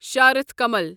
شارتھ کمل